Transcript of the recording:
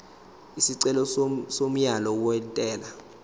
isicelo somyalo wentela